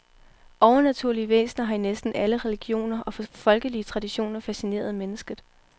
Overnaturlige væsner har i næsten alle religioner og folkelige traditioner fascineret mennesket.